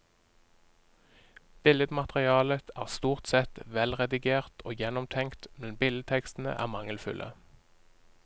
Billedmaterialet er stort sett velredigert og gjennomtenkt, men billedtekstene er mangelfulle.